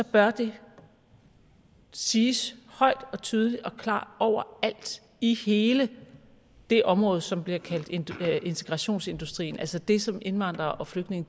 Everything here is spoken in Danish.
bør det siges højt og tydeligt og klart overalt i hele det område som bliver kaldt integrationsindustrien altså det som indvandrere og flygtninge